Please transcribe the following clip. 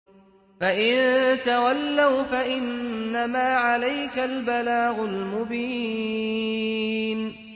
فَإِن تَوَلَّوْا فَإِنَّمَا عَلَيْكَ الْبَلَاغُ الْمُبِينُ